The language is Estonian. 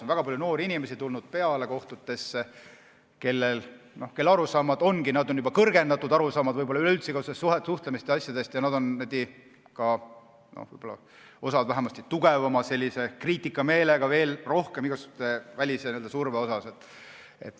On tulnud peale väga palju noori inimesi, kellel on juba n-ö kõrgendatud arusaamad üleüldse suhtlemisest ja asjadest ning nad on, osa neist vähemasti, veel tugevama kriitikameelega igasuguse välissurve asjus.